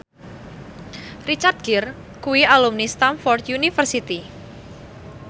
Richard Gere kuwi alumni Stamford University